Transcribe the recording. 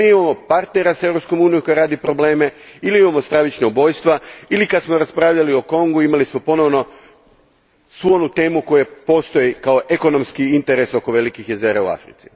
Ili imamo partnera Europske unije koji radi probleme ili imamo stravična ubojstva ili kad smo raspravljali o Kongo, imali smo ponovno onu temu koja postoji kao ekonomski interes oko velikih jezera u Africi.